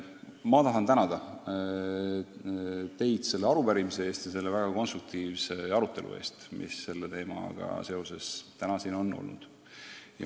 Mina tahan teid tänada selle arupärimise ja väga konstruktiivse arutelu eest, mis selle teemaga seoses täna siin on olnud.